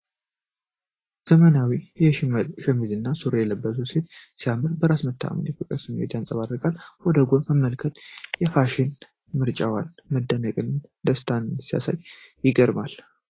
ዘመናዊ የሽመል ሸሚዝና ሱሪ የለበሰችው ሴት ሲያምር፣ በራስ መተማመንና የፍቅር ስሜትን ታንጸባርቃለች። ወደ ጎን መመልከቷ፣ በፋሽን ምርጫዋ መደነቅንና ደስታን ሲያሳይ ይገርማል።